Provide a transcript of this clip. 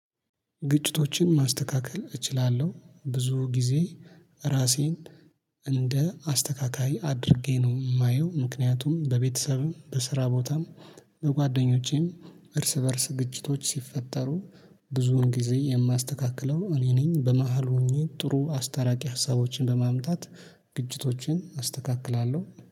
ግጭቶችን ማስተካከል እችላለሁ ብዙ ጊዜ ራሴን እንደ አስተካካይ አድርጌ ነው የማየው። ምክንያቱም በቤተሰብም በስራ ቦታም በጓደኞቼም እርስ በእርስ ግጭቶች ሲፈጠሩ ብዙን ጊዜ የማስተካክለው እኔ ነኝ በመሃል ሆኜ ጥሩ አስታራቂ ሀሳቦችን በማምጣት። ግጭቶችን አስተካክላለሁ